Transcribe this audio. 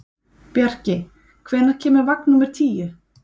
Bjarki, hvenær kemur vagn númer tíu?